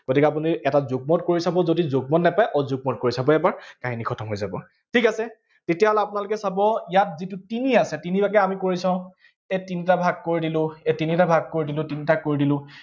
গতিকে আপুনি এটা যুগ্মত কৰি চাব, যদি যুগ্মত নাপায় অযুগ্মত কৰি চাব এবাৰ, কাহিনী খতম হৈ যাব। ঠিক আছে, তেতিয়াহলে আপোনালোকে চাব, ইয়াত যিটো তিনি আছে, তিনিলৈকে আমি কৰি চাওঁ, এই তিনিটা ভাগ কৰি দিলো, এই তিনিটা ভাগ কৰি দিলো, তিনটাত কৰি দিলো